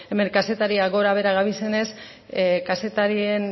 hemen kazetariak gora behera gabiltzanez kazetarien